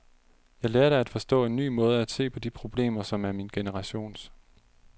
Jeg lærte at forstå en ny måde at se på de problemer, som er min generations.